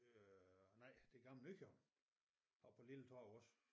Øh nej det gamle Nykøbing oppe på Lilletorv også